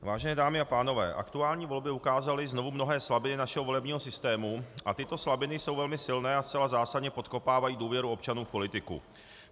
Vážené dámy a pánové, aktuální volby ukázaly znovu mnohé slabiny našeho volebního systému a tyto slabiny jsou velmi silné a zcela zásadně podkopávají důvěru občanů v politiku.